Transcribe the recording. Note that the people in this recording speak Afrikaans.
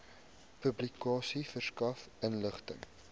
publikasie verskaf inligting